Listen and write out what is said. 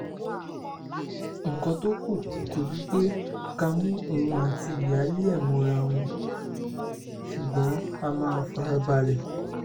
nǹkan tó kù kò ju pé ká mú òun àti ìyáálé ẹ̀ mọ ara wọn ṣùgbọ́n a máa fara balẹ̀